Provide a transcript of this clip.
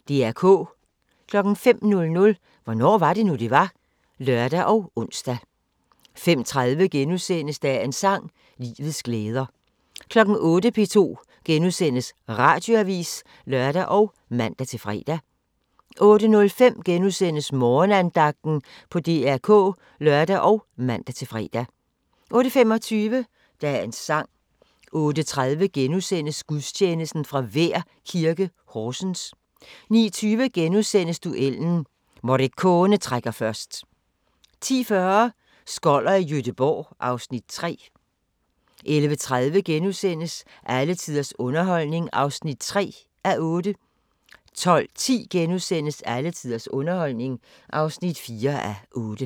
05:00: Hvornår var det nu, det var? (lør og ons) 05:30: Dagens sang: Livets glæder * 08:00: P2 Radioavis *(lør og man-fre) 08:05: Morgenandagten på DR K *(lør og man-fre) 08:25: Dagens sang 08:30: Gudstjeneste fra Vær Kirke, Horsens * 09:20: Duellen – Morricone trækker først * 10:40: Skoller i Gøteborg (Afs. 3) 11:30: Alle tiders underholdning (3:8)* 12:10: Alle tiders underholdning (4:8)*